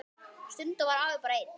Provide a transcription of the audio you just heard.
Stundum var afi bara einn.